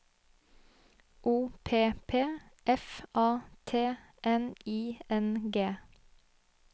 O P P F A T N I N G